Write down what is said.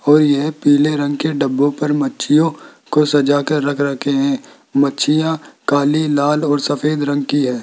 और ये पीले रंग के डब्बो पर मच्छियों को सजा कर रख रखे हैं मच्छियां काली लाल और सफेद रंग की हैं।